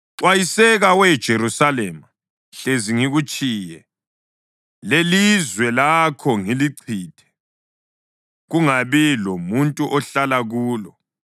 Xwayiseka, we Jerusalema, hlezi ngikutshiye, lelizwe lakho ngilichithe, kungabi lomuntu ohlala kulo.”